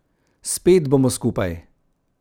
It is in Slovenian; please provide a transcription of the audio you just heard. Spet bomo skupaj.